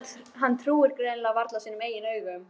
Hann trúir greinilega varla sínum eigin augum.